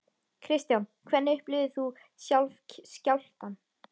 Kristján: Hvernig upplifðir þú sjálf skjálftann?